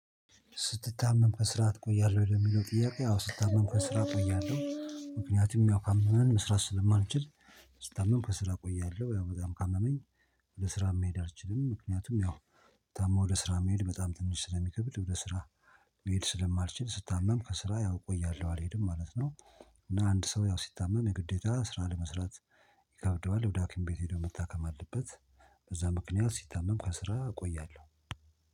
ስትታመም ከስራ ትቆያለህ ወይ? ለሚለው ጥያቄ አዎ ስታመም ከስራ እቆያለሁ ምክንያቱም ያው ካመመን መስራት ስለማንችል ስታመም ከስራ ቆያለሁ ያው በጣም ካመመኝ ወደ ስራ መሄድ አልችልም ምክንያቱም ያው ታሞ ወደ ስራ መሄድ በጣም ትንሽ ስለሚከብድ ወደ ስራ መሄድ ስለማልችል ስታመም ከስራ ያው እቆያለሁ አልሄድም ማለት ነው እና አንድ ሰው ያው ሲታመም የግዴታ ስራ ለመስራት ይከብደዋል ወደ ሀኪም ቤት ሄዶ መታከም አለበት በዛ ምክንያት ስታመም ከስራ እቆያለሁ